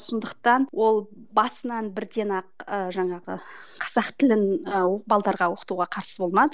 сондықтан ол басынан бірден ақ ы жаңағы қазақ тілін ы оқытуға қарсы болмады